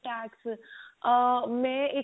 ah ਮੈਂ ਇੱਕ